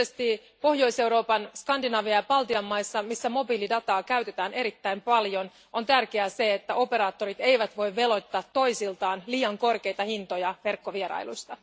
Erityisesti Pohjois Euroopan, Skandinavian ja Baltian maissa, missä mobiilidataa käytetään erittäin paljon, on tärkeää, että operaattorit eivät voi veloittaa toisiltaan liian korkeita hintoja verkkovierailuista.